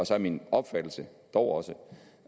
så er min opfattelse dog også